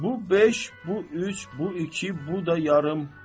Bu 5, bu 3, bu 2, bu da yarım.